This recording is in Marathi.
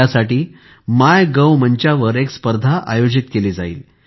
त्यासाठी मायगोव मंचावर एक स्पर्धा आयोजित केली जाईल